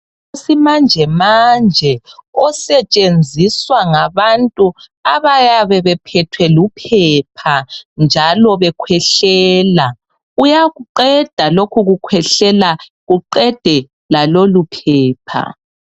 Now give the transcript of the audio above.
Umuthi wesimanje manje osetshenziswa ngabantu abayabe bephethwe luphepha njalo bekhwehlela, uyakuqeda lokhu kukhwehlela kuqede lalolu phepha.